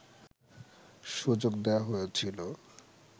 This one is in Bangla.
সুযোগ দেওয়া হয়েছিল